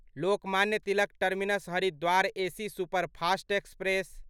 Lokmanya Tilak terminus Haridwar AC superfast express